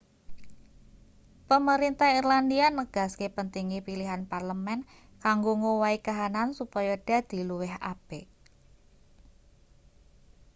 pemerintah irlandia negaske pentinge pilihan parlemen kanggo ngowahi kahanan supaya dadi luwih apik